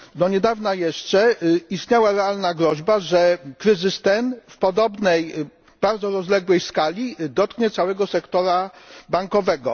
Do niedawna jeszcze istniała realna groźba, że kryzys ten w podobnej bardzo rozległej skali dotknie całego sektora bankowego.